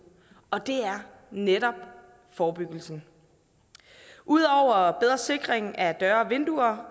og det er netop forebyggelsen ud over bedre sikring af døre og vinduer